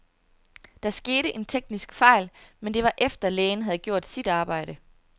Der skete en teknisk fejl, men det var efter, lægen havde gjort sit arbejde.